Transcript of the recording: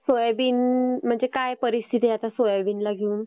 Soybean म्हणजे काय परिस्थिती आता सोयाबीनला घेऊन?